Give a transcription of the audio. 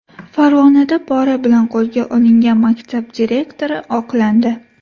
Farg‘onada pora bilan qo‘lga olingan maktab direktori oqlandi.